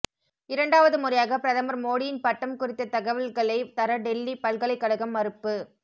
இரண்டாவது முறையாக பிரதமர் மோடியின் பட்டம் குறித்த தகவல்களை தர டெல்லி பல்கலைக்கழகம் மறுப்பு